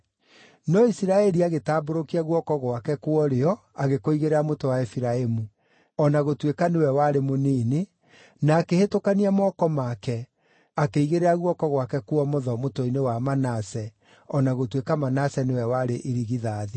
No Isiraeli agĩtambũrũkia guoko gwake kwa ũrĩo agĩkũigĩrĩra mũtwe wa Efiraimu, o na gũtuĩka nĩwe warĩ mũnini, na akĩhĩtũkania moko make, akĩigĩrĩra guoko gwake kwa ũmotho mũtwe-inĩ wa Manase, o na gũtuĩka Manase nĩwe warĩ irigithathi.